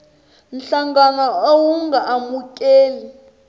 nhlangano a wu nga amukeli